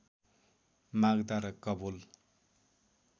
माग्दा र कवोल